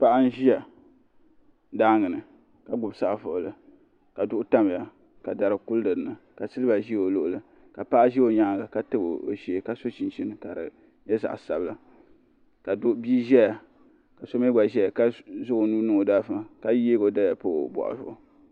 Paɣa n ziya daangi ni ka gbubi saɣim buɣili ka duɣu tamiya ka dari kuli dinni ka siliba zi o luɣuli ka paɣa zi o yɛanga ka tabi o shɛɛ ka so chinchini ka di nyɛ zaɣi sabinli ka bia zɛya ka so mi gba zɛya ka zaŋ o nuu niŋ o da aligifu ni ka yiɛgi o daliya pa o bɔɣu zuɣu.